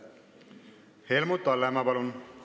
Helmut Hallemaa, palun!